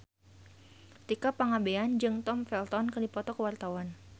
Tika Pangabean jeung Tom Felton keur dipoto ku wartawan